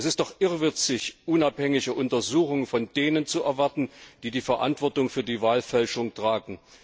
Es ist doch irrwitzig, unabhängige Untersuchungen von denen zu erwarten, die die Verantwortung für die Wahlfälschung tragen.